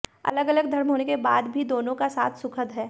अलग अलग धर्म के होने के बाद भी दोनों का साथ सुखद है